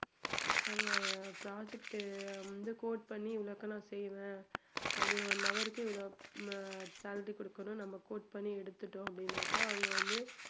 நம்ம project வந்து quote பண்ணி இவ்வளோக்கு நான் செய்வேன் அப்படி one hour க்கு இவ்ளோ ஹம் salary கொடுக்கணும் நம்ம quote பண்ணி எடுத்துட்டோம் அப்படினாக்கா